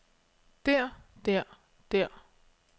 der der der